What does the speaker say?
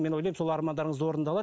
мен ойлаймын сол армандарыңыз орындалады